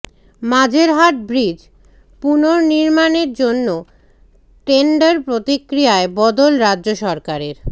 Majerhat bridge পুনর্নির্মাণের জন্য tender প্রক্রিয়ায় বদল রাজ্য সরকারের